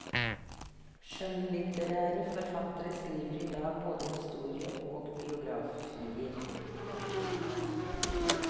Skjønnlitterære forfattere skriver i dag både historie og biografier.